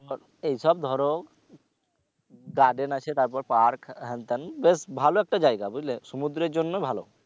এই সব ধরো garden আছে তারপর park হ্যান তেন বেশ ভালো একটা জায়গা বুঝলে সমুদ্রের জন্য ভালো